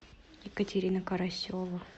екатерина карасева